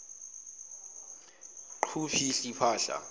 qhu phihli phahla